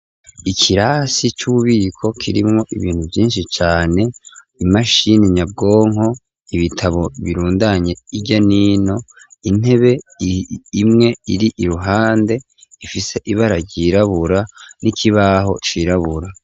Ikirasi c'ububiko kirimwo ibintu vyinshi cane, imashini nyabwonko, ibitabo birundanye hirya nino, intebe imwe iri iruhande ifise ibara ryirabura n'ikibaho cirabura.